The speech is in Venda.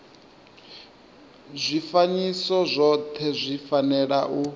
zwifanyiso zwothe zwi fanela u